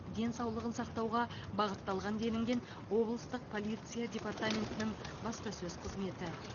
денсаулығын сақтауға бағытталған делінген облыстық полиция департаментінің баспасөз қызметі